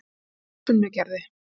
Sunnugerði